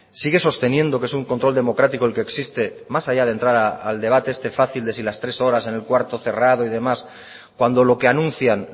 sigue sosteniendo que es un control democrático el que existe más allá de entrar al debate este fácil de si las tres horas en el cuarto cerrado y demás cuando lo que anuncian